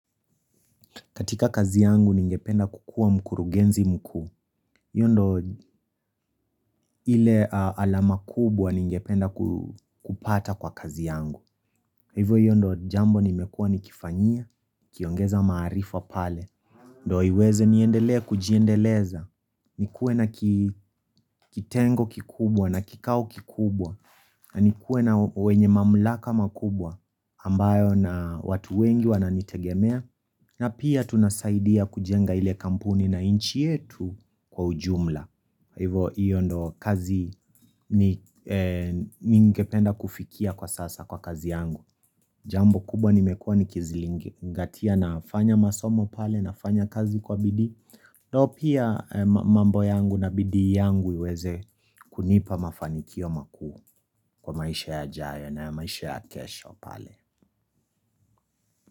Katika kazi yangu, ningependa kukuwa mkurugenzi mkuu. Hii ndio ile alama kubwa ningependa kupata kwa kazi yangu. Hivyo hiyo ndio jambo nimekuwa nikifanyia, nikiongeza maarifa pale. Ndio iweze, niendelee kujiendeleza, nikuwe na ki kitengo kikubwa na kikao kikubwa, na nikuwe na wenye mamlaka makubwa, ambayo na watu wengi wananitegemea, na pia tunasaidia kujenga ile kampuni na nchi yetu kwa ujumla. Kwa hivyo, hiyo ndio kazi ningependa kufikia kwa sasa kwa kazi yangu Jambo kubwa nimekuwa nikizingatia nafanya masomo pale, nafanya kazi kwa bidii Ndio pia mambo yangu na bidii yangu iweze kunipa mafanikio makuu, kwa maisha yajayo na ya maisha ya kesho pale.